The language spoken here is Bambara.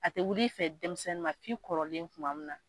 A tɛ wuli fɛ denmisɛnnin ma fi kɔrɔlen kuma min na.